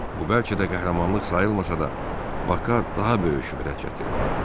Bu bəlkə də qəhrəmanlıq sayılmasa da, Bak'a daha böyük şöhrət gətirdi.